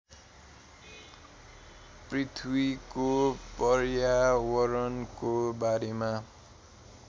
पृथ्वीको पर्यावरणको बारेमा